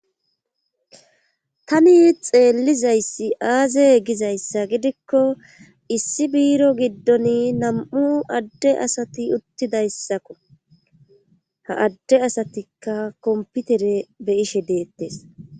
tani xeellizayssi aaze gizayssa gidikko issi biiro giddon nam7u adde asati uttidayssakko ha adde asatikka komputere be,ishe deettes